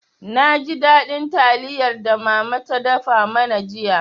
Na ji daɗin taliyar da mama ta dafa mana jiya.